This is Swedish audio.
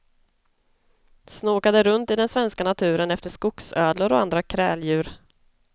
Snokade runt i den svenska naturen efter skogsödlor och andra kräldjur.